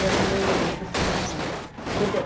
E a minha mãe ia nos buscar lá. Quando era